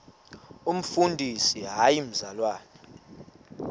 umfundisi hayi mzalwana